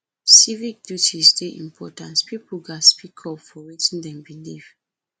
civic duties dey important pipo gatz speak up for wetin dem believe